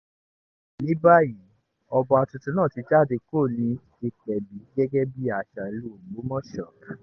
ní báyìí ọba tuntun náà ti jáde kúrò ní ìpẹ̀bí gẹ́gẹ́ bíi àṣà ìlú ògbómọṣọ